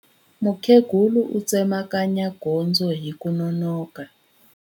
Mukhegula u tsemakanya gondzo hi ku nonoka.